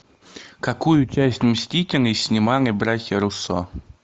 какую часть мстителей снимали братья руссо